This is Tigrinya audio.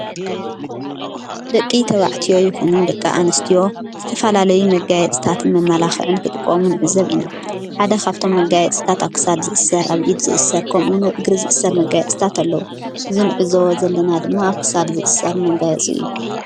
ደቂ ተውዕትዮ ይኹኑ ደቀ ኣንስትዮ ዝተፋላለይ መጋየስታትን መማላኽዕን ክጥቆሙን ዕዘብ ኢና ሓደ ኻብቶም መጋያፅ ስታት ኣሳድ ዝእሠር ኣብ ኢድ ዝእሥር ከምኡኑ እግሪ ዝእሥር መጋየጥስታት ኣለዉ። ዝንዕዞ ዘለና ድማ ኣክሳድ ዝእሠር መጋየጽ እዩ